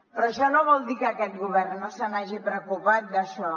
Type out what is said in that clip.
però això no vol dir que aquest govern no se n’hagi preocupat d’això